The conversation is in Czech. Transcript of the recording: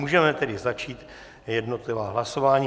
Můžeme tedy začít jednotlivá hlasování.